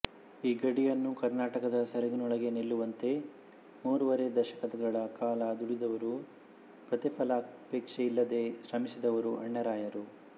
ಈ ಗಡಿಯನ್ನು ಕರ್ನಾಟಕದ ಸೆರಗಿನೊಳಗೇ ನಿಲ್ಲುವಂತೆ ಮೂರುವರೆ ದಶಕಗಳ ಕಾಲ ದುಡಿದವರು ಪ್ರತಿಫಲಾಪೇಕ್ಷೆಯಿಲ್ಲದೆ ಶ್ರಮಿಸಿದವರು ಅಣ್ಣಾರಾಯರು